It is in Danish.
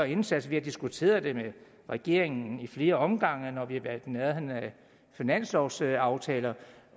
indsats vi har diskuteret det med regeringen i flere omgange når vi har været i nærheden af finanslovsaftalerne